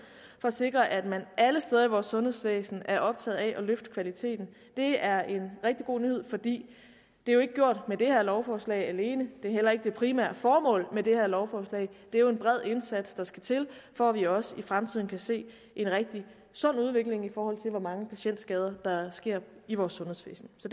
at sikre at man alle steder i vores sundhedsvæsen er optaget af at løfte kvaliteten det er en rigtig god nyhed for det er jo ikke gjort med det her lovforslag alene det er heller ikke det primære formål med det her lovforslag det er jo en bred indsats der skal til for at vi også i fremtiden kan se en rigtig sund udvikling i forhold til hvor mange patientskader der sker i vores sundhedsvæsen så